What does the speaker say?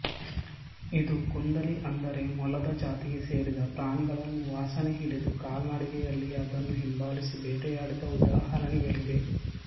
ಇದು ಕುಂದಿಲಿ ಅಂದರೆ ಮೊಲದ ಜಾತಿಗೆ ಸೇರಿದ ಪ್ರಾಣಿಗಳನ್ನು ವಾಸನೆ ಹಿಡಿದು ಕಾಲ್ನಡಿಗೆಯಲ್ಲಿಯೇ ಅದನ್ನು ಹಿಂಬಾಲಿಸಿ ಬೇಟೆಯಾಡಿದ ಉದಾಹರಣೆಗಳಿವೆ